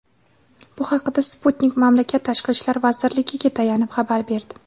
Bu haqda "Sputnik" mamlakat Tashqi ishlar vazirligiga tayanib xabar berdi.